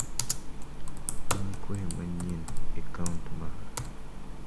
An gi kwayo manyien e kaunt mara.